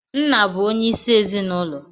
Nna bu onye isi ezinụlọ